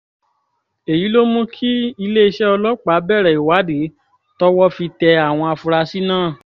èyí ló mú kí iléeṣẹ́ ọlọ́pàá bẹ̀rẹ̀ ìwádìí tọ́wọ́ fi tẹ àwọn afurasí náà